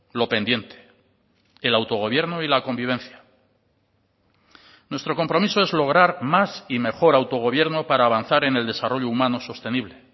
lo pendiente el autogobierno y la convivencia nuestro compromiso es lograr más y mejor autogobierno para avanzar en el desarrollo humano sostenible